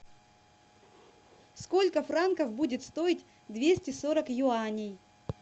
сколько франков будет стоить двести сорок юаней